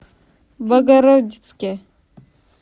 богородицке